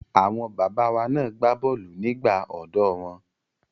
Àwọn bàbá wa na gbá bọ́ọ̀lù nígbà ọ̀dọ́ wọn.